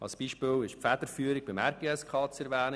Als Beispiel ist die Federführung des RGSK zu erwähnen.